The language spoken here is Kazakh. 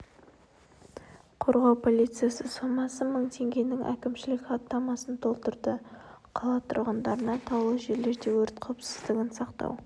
қорғау полициясы сомасы мың теңгенің әкімшілік хаттамасын толтырды қала тұрғындарына таулы жерлерде өрт қауіпсіздігін сақтау